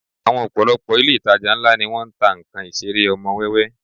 Àwọn ọ̀pọ̀lọpọ̀ ilé ìtajà ńlá ni wọ́n ń ta nnkan Ìṣeré ọmọ wẹ́wẹ́